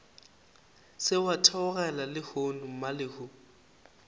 se wa theogela lehono mmalehu